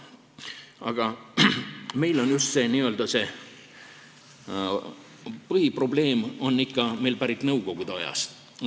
Aga see n-ö põhiprobleem on meil pärit ikka nõukogude ajast.